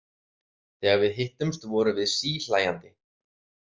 Þegar við hittumst vorum við síhlæjandi.